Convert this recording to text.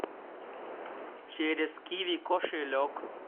через киви кошелек